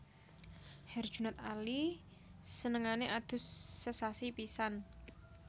Herjunot Ali senengane adus sesasi pisan